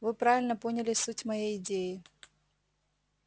вы правильно поняли суть моей идеи